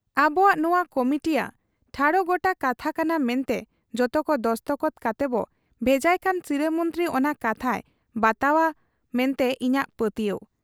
ᱟᱵᱚᱣᱟᱜ ᱱᱚᱶᱟ ᱠᱚᱢᱤᱴᱤᱭᱟᱜ ᱴᱷᱟᱲᱚᱜ ᱜᱚᱴᱟ ᱠᱟᱛᱷᱟ ᱠᱟᱱᱟ ᱢᱮᱱᱛᱮ ᱡᱚᱛᱚᱠᱚ ᱫᱚᱥᱠᱚᱛ ᱠᱟᱛᱮᱵᱚ ᱵᱷᱮᱡᱟᱭ ᱠᱷᱟᱱ ᱥᱤᱨᱟᱹ ᱢᱚᱱᱛᱨᱤ ᱚᱱᱟ ᱠᱟᱛᱷᱟᱭ ᱵᱟᱛᱟᱣ ᱟ ᱢᱮᱱᱛᱮ ᱤᱧᱟᱹᱜ ᱯᱟᱹᱛᱭᱟᱹᱣ ᱾